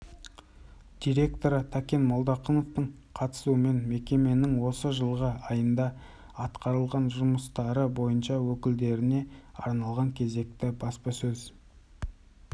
директоры тәкен молдақыновтың қатысуымен мекеменің осы жылғы айында атқарылған жұмыстары бойынша өкілдеріне арналған кезекті баспасөз